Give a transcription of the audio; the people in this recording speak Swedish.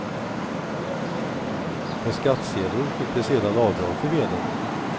På skattesedeln fick de sedan avdrag för veden.